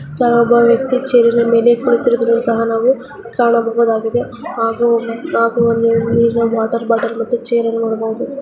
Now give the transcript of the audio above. ಒಬ್ಬ ವ್ಯಕ್ತಿ ಚೆರ್ನ ಮೇಲೆ ಕುಳಿತಿರುವುದನ್ನು ಸಹ ನಾವು ಕಾಣಬಹದಾಗಿದೆ ಹಾಗು ಒಂದು ನೀರಿನ ವಾಟರ್ ಬೊಟಲ್ ಮತ್ತು ಚೇರ್ ನೋಡಬೋದು .